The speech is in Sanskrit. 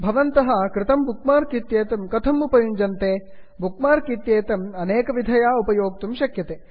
भवन्तः कृतं बुक् मार्क् इत्येतत् कथम् उपयुञ्जते160 बुक् मार्क् इत्येतम् अनेकविधया उपयोक्तुं शक्यते